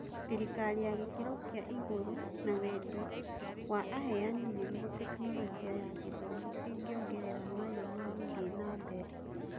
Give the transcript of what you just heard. Thĩrikari ya gĩkĩro kĩa igũrũ na wendi wa aheani nĩguo Tekinoronjĩ ya Gĩthomo ĩngĩongerera mayũ ma gũthiĩ nambere.